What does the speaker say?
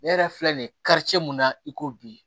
Ne yɛrɛ filɛ nin ye karice mun na i ko bi